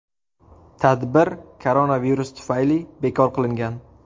Tadbir koronavirus tufayli bekor qilingan.